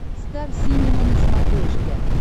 стар синема на смотрешке